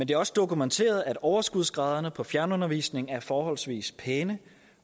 det er også dokumenteret at overskudsgraderne på fjernundervisning er forholdsvis pæne